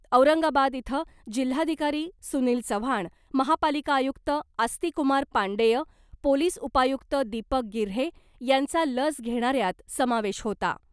औरंगाबाद इथं जिल्हाधिकारी सुनील चव्हाण , महापालिका आयुक्त आस्तिकुमार पांडेय , पोलिस उपायुक्त दीपक गिऱ्हे यांचा लस घेणाऱ्यांत समावेश होता .